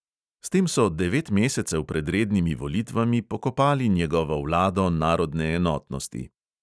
S tem so devet mesecev pred rednimi volitvami pokopali njegovo vlado narodne enotnosti.